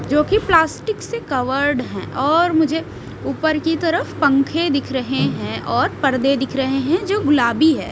जो की प्लास्टिक से कवर्ड है और मुझे ऊपर की तरफ पंखे दिख रहे हैं और पर्दे दिख रहे हैं जो गुलाबी है।